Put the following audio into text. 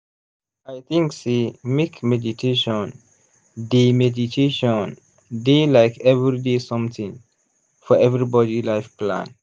i think sey make meditation dey meditation dey like everyday something for everybody life plan.